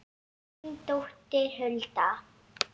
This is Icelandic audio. Þín dóttir Hulda.